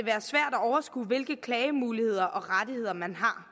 overskue hvilke klagemuligheder og rettigheder man har